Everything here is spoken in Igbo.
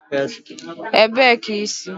Ebee ka i si?